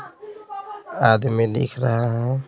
आदमी दिख रहा है।